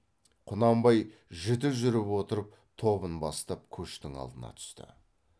құнанбай жіті жүріп отырып тобын бастап көштің алдына түсті